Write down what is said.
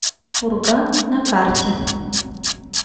пурга на карте